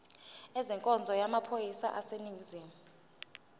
ezenkonzo yamaphoyisa aseningizimu